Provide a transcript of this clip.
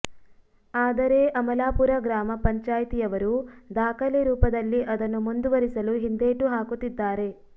ಆದರೆ ಅಮಲಾಪುರ ಗ್ರಾಮ ಪಂಚಾಯಿತಿಯವರು ದಾಖಲೆ ರೂಪದಲ್ಲಿ ಅದನ್ನು ಮುಂದುವರಿಸಲು ಹಿಂದೇಟು ಹಾಕುತ್ತಿದ್ದಾರೆ